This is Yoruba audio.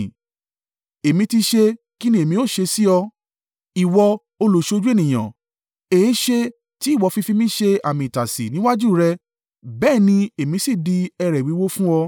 Èmi ti ṣẹ̀, ki ní èmi ó ṣe sí ọ. Ìwọ Olùsójú ènìyàn? Èéṣe tí ìwọ fi fi mí ṣe àmì itasi níwájú rẹ, bẹ́ẹ̀ ni èmi sì di ẹrẹ̀ wíwo fún ọ?